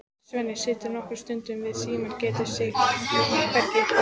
Svenni situr nokkra stund við símann, getur sig hvergi hrært.